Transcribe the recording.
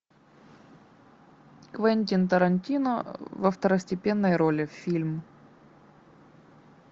квентин тарантино во второстепенной роли фильм